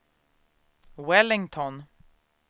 Wellington